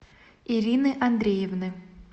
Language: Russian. ирины андреевны